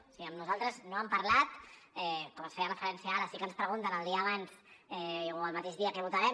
o sigui amb nosaltres no han parlat com s’hi feia referència ara sí que ens pregunten el dia abans o el mateix dia què votarem